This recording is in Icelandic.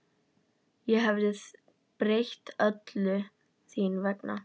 Ég hefði breytt öllu þín vegna.